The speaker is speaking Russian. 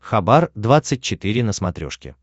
хабар двадцать четыре на смотрешке